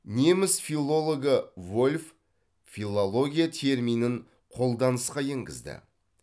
неміс филологы вольф филология терминін қолданысқа енгізді